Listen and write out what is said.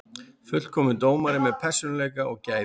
Fullkominn dómari með persónuleika og gæði.